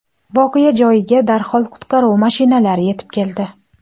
Voqea joyiga darhol qutqaruv mashinalari yetib keldi.